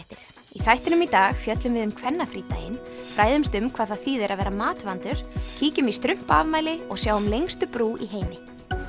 í þættinum í dag fjöllum við um kvennafrídaginn fræðumst um hvað það þýðir að vera matvandur kíkjum í strumpaafmæli og sjáum lengstu brú í heimi